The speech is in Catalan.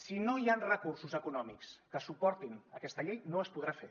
si no hi han recursos econòmics que suportin aquesta llei no es podrà fer